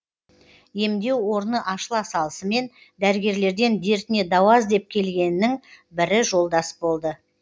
емдеу орны ашыла салысымен дәрігерлерден дертіне дауа іздеп келгеннің бірі жолдас болды